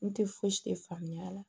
N tɛ fosi faamuya